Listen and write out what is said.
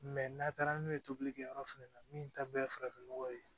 n'a taara n'o ye tobilikɛ yɔrɔ fɛnɛ na min ta bɛɛ ye farafin nɔgɔ ye